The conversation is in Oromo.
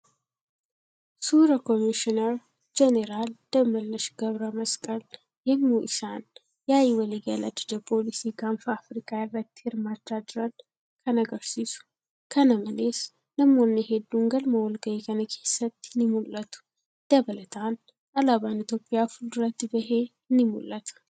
Suura Koomishinar Jeeneraal Dammallaash Gabramasqa yemmuu isaan yaa'ii waliigalaa Ajaja poolisii gaanfa Afrikaa irratti hirmaachaa jiran kan agarsiisu. Kana malees namoonni heedduun galma walga'ii kana keessatti ni mul'atu. Dabalataan, Alaabaan Itiyoophiyaa fuulduratti bahee ni mul'ata.